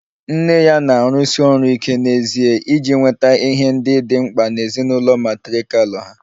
Nne ya na-arụsi ọrụ ike n'ezie iji nweta ihe ndị dị mkpa na ezinụlọ matrirkal ha